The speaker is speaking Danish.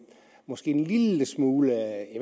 måske en lille smule